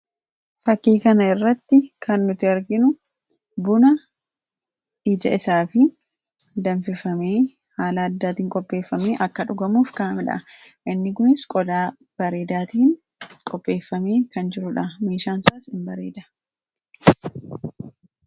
Fakkii kana irratti kan nuti arginu Buna ija isaa fi danfifamee haala addaatiin qopheeffamee akka dhugamuuf kaa'amedha. Inni kunis qodaa bareedaatiin qopheeffamee kan jirudha. meeshaansaas hinbareeda.